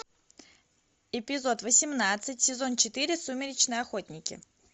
эпизод восемнадцать сезон четыре сумеречные охотники